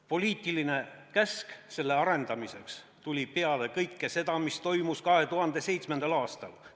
Poliitiline käsk selle arendamiseks tuli peale kõike seda, mis toimus 2007. aastal.